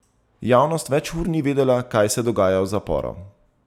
Javnost več ur ni vedela, kaj se dogaja v zaporu.